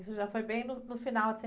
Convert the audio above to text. Isso já foi bem no, no final de